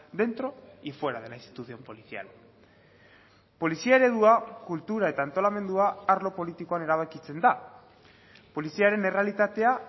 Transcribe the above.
dentro y fuera de la institución policial polizia eredua kultura eta antolamendua arlo politikoan erabakitzen da poliziaren errealitatea